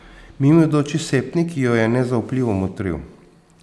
Mimoidoči septnik jo je nezaupljivo motril.